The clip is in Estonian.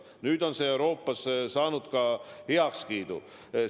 Nüüd on see Euroopas heakskiidu saanud.